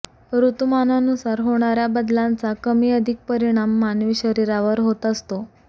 ऋतुमानानुसार होणाऱ्या बदलांचा कमी अधिक परिणाम मानवी शरीरावर होत असतो